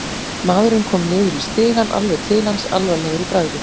Maðurinn kom niður í stigann, alveg til hans, alvarlegur í bragði.